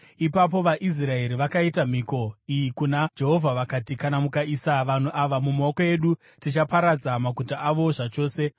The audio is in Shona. Ipapo vaIsraeri vakaita mhiko iyi kuna Jehovha, vakati: “Kana mukaisa vanhu ava mumaoko edu, tichaparadza maguta avo zvachose.”